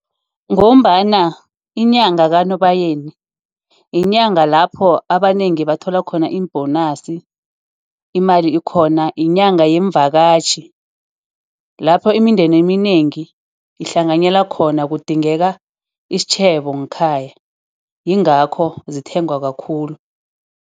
Ngombana inyanga kaNobayeni, inyanga lapho abanengi bathola khona iim-bonus, umali ikhona. Inyanga yemvakatjhi. Lapho imindeni eminengi ihlanganyela khona, kudingeka isitjhebo nkhaya. Yingakho zithengwa kakhulu.